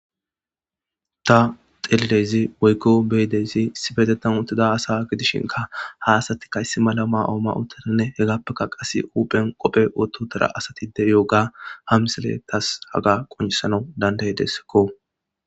Ta xelidays woyko beyidays issipetana utida asa gidishika ha asatika issi mala mayo mayi utidanne hegapeka huphana qofe woti utida de'iyoga ha misiley tas haga qonisanaw da'aidesekko